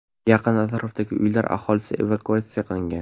Yaqin atrofdagi uylar aholisi evakuatsiya qilingan.